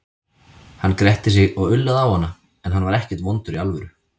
Hann gretti sig og ullaði á hana, en hann var ekkert vondur í alvöru.